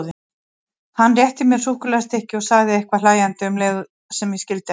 Hann rétti mér súkkulaðistykki og sagði eitthvað hlæjandi um leið sem ég skildi ekki.